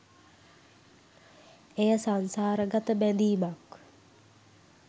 එය සංසාරගත බැඳීමක්